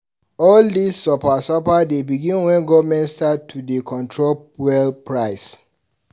All dis suffer suffer begin wen government start to dey control fuel price.